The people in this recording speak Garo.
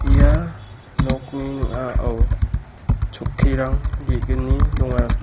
ia nokni ning·ao chokkirang ge·gni donga.